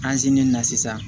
na sisan